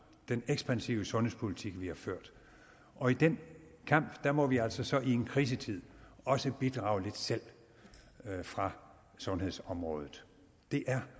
den ekspansive sundhedspolitik vi har ført og i den kamp må vi altså så i en krisetid også bidrage lidt selv fra sundhedsområdet det er